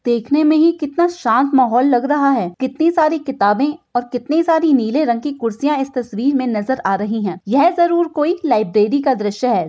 देखने में ही कितना शांत माहौल लग रहा है कितनी सारी किताबें और कितनी सारी नीले रंग की कुर्सियां इस तस्वीर में नजर आ रही हैं यह जरूर कोई लाइब्रेरी का दृश है।